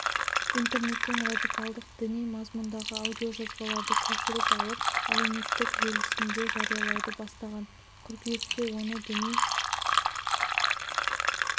интернеттен радикалдық діни мазмұндағы аудиожазбаларды көшіріп алып әлеуметтік желісінде жариялауды бастаған қыркүйекте оны діни